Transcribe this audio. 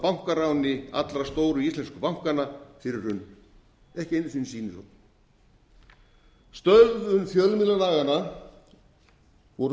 af bankaráni allra stóru íslensku bankanna fyrir hrunið ekki einu sinni sýnishorn stöðvun fjölmiðlalaganna voru